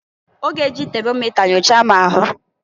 Ọ g'e ji temomịta nyochaa m ahụ.